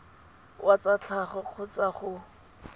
wa tsa tlhago kgotsa go